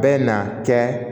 Bɛ na kɛ